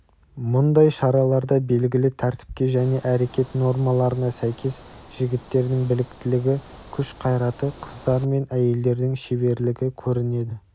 мұндай шараларда белгілі тәртіпке және әрекет нормаларына сәйкес жігіттердің біліктілігі күш-қайраты қыздар мен әйелдердің шеберлігі көрінеді